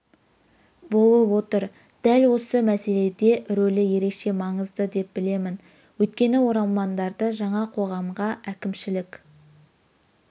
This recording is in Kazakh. болып отыр дәл осы мәселеде рөлі ерекше маңызды деп білемін өйткені оралмандарды жаңа қоғамға әкімшілік